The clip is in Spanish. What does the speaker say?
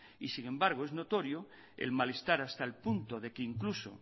y sin embargo es notorio el malestar hasta el punto de que incluso